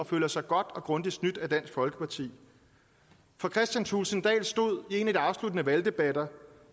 føler sig godt og grundigt snydt af dansk folkeparti for kristian thulesen dahl stod i en af de afsluttende valgdebatter